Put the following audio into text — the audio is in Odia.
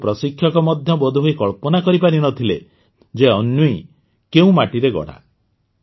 କିନ୍ତୁ ପ୍ରଶିକ୍ଷକ ମଧ୍ୟ ବୋଧହୁଏ କଳ୍ପନା କରିପାରିନଥିଲେ ଯେ ଅନ୍ୱୀ କେଉଁ ମାଟିରେ ଗଢ଼ା